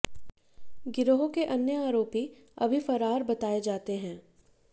गिरोह के अन्य आरोपी अभी फरार बताये जाते हैं